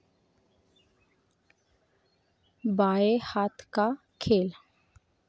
बाये हाथ का खेल